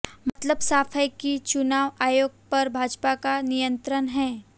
मतलब साफ है कि चुनाव आयोग पर भाजपा का नियंत्रण है